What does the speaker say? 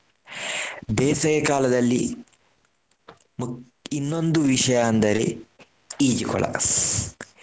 ಬೇಸಗೆಕಾಲದಲ್ಲಿ ಮುಖ್~ ಇನ್ನೊಂದು ವಿಷಯ ಅಂದರೆ ಈಜುಕೊಳ.